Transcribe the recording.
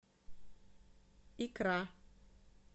икра